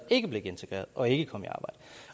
ikke blev integreret og som ikke kom i arbejde